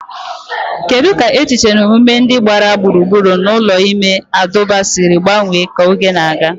Kedu ka echiche na omume ndị gbara gburugburu ụlọ ime abụba siri gbanwee ka oge na-aga?